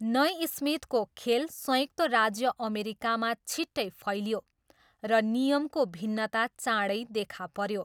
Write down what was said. नइस्मिथको खेल संयुक्त राज्य अमेरिकामा छिट्टै फैलियो र नियमको भिन्नता चाँडै देखा पऱ्यो।